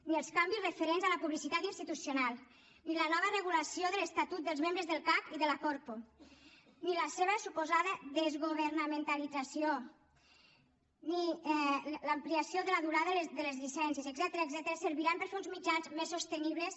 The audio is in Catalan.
ni els canvis referents a la publicitat institucional ni la nova regulació de l’estatut dels membres del cac i de la corpo ni la seva suposada desgovernamentalització ni l’ampliació de la durada de les llicències etcètera serviran per fer uns mitjans més sostenibles